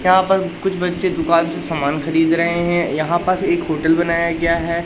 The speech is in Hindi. यहाँ पर कुछ बच्चे दुकान से समान खरीद रहें हैं यहाँ पास एक होटल बनाया गया हैं।